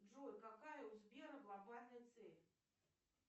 джой какая у сбера глобальная цель